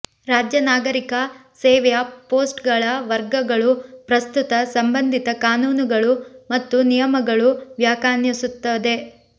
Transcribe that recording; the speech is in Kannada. ರಾಜ್ಯ ನಾಗರಿಕ ಸೇವೆಯ ಪೋಸ್ಟ್ಗಳ ವರ್ಗಗಳು ಪ್ರಸ್ತುತ ಸಂಬಂಧಿತ ಕಾನೂನುಗಳು ಮತ್ತು ನಿಯಮಗಳು ವ್ಯಾಖ್ಯಾನಿಸುತ್ತದೆ